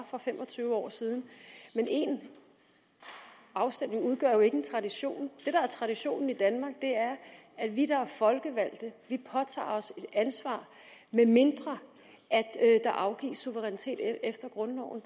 for fem og tyve år siden men én afstemning udgør jo ikke en tradition det der er traditionen i danmark er at vi der er folkevalgte påtager os et ansvar medmindre der afgives suverænitet efter grundloven